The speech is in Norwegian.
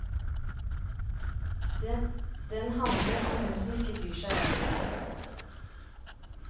Den handler om hun som ikke bryr seg om noe.